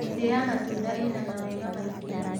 Mĩtĩ ya matunda ĩna mawega maingĩ